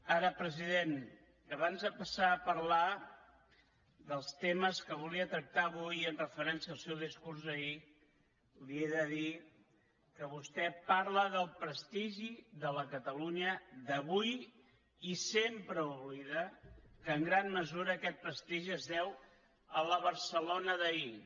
ara president abans de passar a parlar dels temes que volia tractar avui amb referència al seu discurs d’ahir li he de dir que vostè parla del prestigi de la catalunya d’avui i sempre oblida que en gran mesura aquest prestigi es deu a la barcelona d’ahir